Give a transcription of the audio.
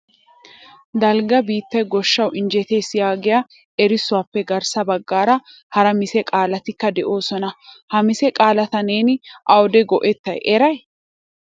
Dalgga biittay goshshaw injjettees yaagiya erissuwappe garssa baggaara hara mise qaalatikka de'oosona. Ha mise qaalata neeni awude go"etta eray ?